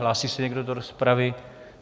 Hlásí se někdo do rozpravy?